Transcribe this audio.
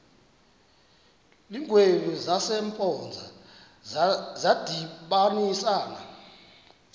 iingwevu zasempoza zadibanisana